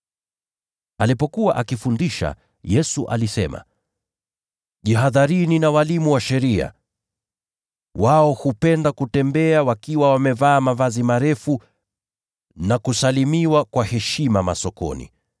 Alipokuwa akifundisha, Yesu alisema, “Jihadharini na walimu wa sheria. Wao hupenda kutembea wakiwa wamevaa mavazi marefu, na kusalimiwa kwa heshima masokoni.